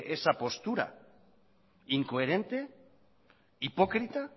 esa postura incoherente hipócrita